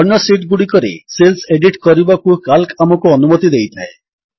ଅନ୍ୟ ଶୀଟ୍ ଗୁଡ଼ିକରେ cells edit କରିବାକୁ କାଲ୍କ ଆମକୁ ଅନୁମତି ଦେଇଥାଏ